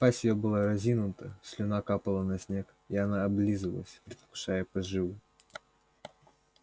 пасть её была разинута слюна капала на снег и она облизывалась предвкушая поживу